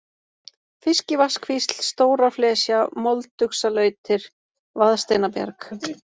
Fiskivatnskvísl, Stóraflesja, Molduxalautir, Vaðsteinabjarg